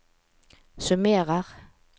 summerer